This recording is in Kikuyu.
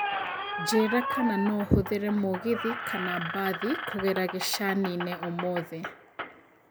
njĩira kana no hũthĩre mũgĩthĩ kana mbathĩ kũgera gĩcanĩnĩ ũmũthi